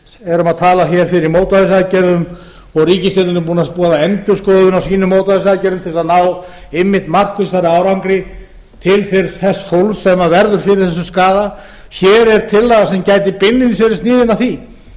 erum að tala fyrir mótvægisaðgerðum og ríkisstjórnin er búin að endurskoða sínar mótvægisaðgerðum til að ná einmitt markvissari árangri til þess fólks sem verður fyrir þessum skaða hér er tillaga sem gæti beinlínis verið sniðin að því